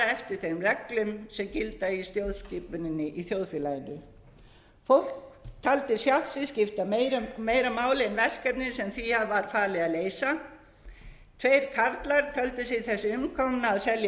eftir þeim eigum sem gilda í stjórnskipuninni í þjóðfélaginu fólk taldi sjálft sig skipta bera máli en verkefnin sem því var falið að leysa tveir karlar töldu sig þess umkomna að selja